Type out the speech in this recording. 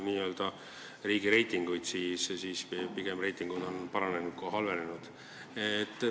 Vaadates riigireitinguid, näeme, et meie reitingud on pigem paranenud kui halvenenud.